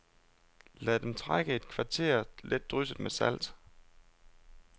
Lad dem trække et kvarter let drysset med salt.